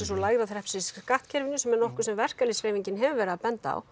og lægra þrepsins í skattkerfinu sem er nokkuð sem verkalýðshreyfingin hefur verið að benda á